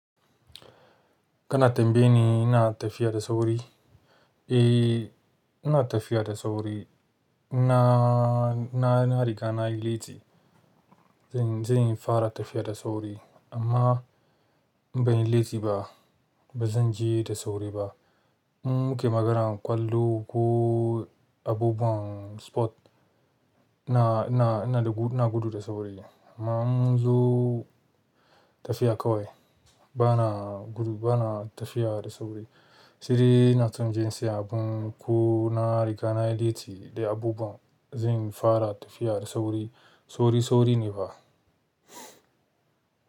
Kana tambayi ni ina tafiya da sauri? Eh, ina tafiya da sauri. Ina, ina, ina riga na yi latti, zan, zan fara tafiya da sauri l, amma in ban yi latti ba. Ba zan je da sauri ba. In nake maganar ƙwallo ko abubuwan sport, ina gudu da sauri, amma in mun zo tafiya kawai, bana gudu, bana tafiya da sauri. Shi ne ina tun jin si a abun ko na riga na yi latti da abubuwan zan fara tafiya da sauri, sauri, sauri ne fa.